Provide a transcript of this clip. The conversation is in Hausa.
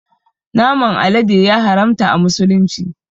Naman alade ya haramta a musulunci